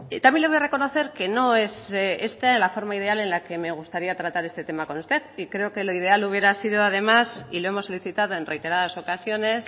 también le voy a reconocer que no es esta la forma ideal en la que me gustaría tratar este tema con usted y creo que lo ideal hubiera sido además y lo hemos solicitado en reiteradas ocasiones